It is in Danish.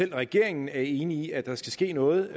regeringen er enig i at der skal ske noget